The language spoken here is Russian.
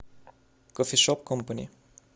кофешоп компани